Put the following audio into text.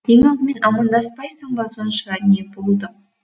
ең алдымен амандаспайсың ба сонша не болды